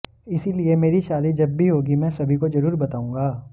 इसीलिए मेरी शादी जब भी होगी मैं सभी को जरूर बताऊंगा